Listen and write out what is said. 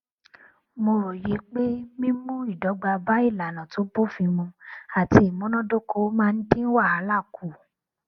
mo róye pé mímú ìdọgba bá ìlànà tó bófin mu àti ìmúnádóko máa ń dín wàhálà kù